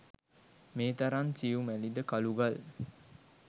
මේ තරම් සියුමැලි ද කළුගල්